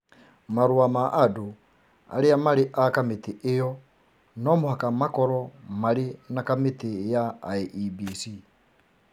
marũa ma andũ arĩa marĩ a kamĩtĩ ĩyo no mũhaka makorwo marĩ na kamĩtĩ ya IEBC,